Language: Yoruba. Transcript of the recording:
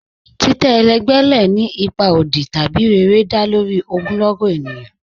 Titẹ́ ẹlẹgbẹ lẹ́ ni ipa ọdì tabi rẹ̀rẹ̀, dá lórí ogunlọ́gọ̀ ènìyàn